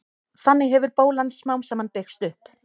þannig hefur bólan smám saman byggst upp